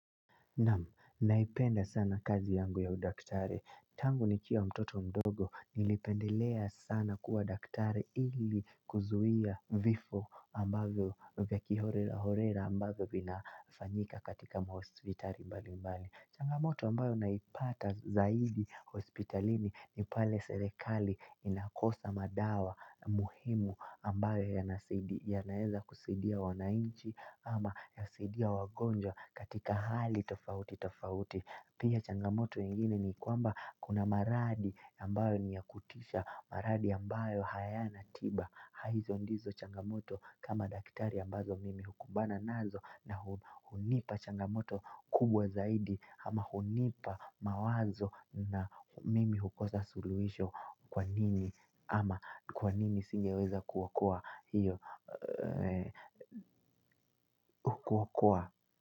Namu, naipenda sana kazi yangu ya udaktare. Tangu nikiwa mtoto mdogo, nilipendelea sana kuwa udaktari ili kuzuia vifo ambavyo vya kihorera ambavyo vinafanyika katika mahospitali mbali mbali. Changamoto ambayo naipata zaidi hospitalini ni pale serikali inakosa madawa muhimu ambayo yanaeza kusaidia wananchi ama yasaidia wagonjwa katika hali tofauti tofauti. Pia changamoto mengine ni kwamba kuna maradhi ambayo niyakutisha. Maradhi ambayo hayana tiba. Haizo ndizo changamoto kama daktari ambazo mimi hukumbana nazo. Na hunipa changamoto kubwa zaidi. Ama hunipa mawazo na mimi hukosa suluhisho kwa nini. Ama kwa nini singeweza kuokoa hiyo. Kuwa kuwa.